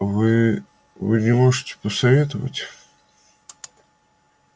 вы вы не можете посоветовать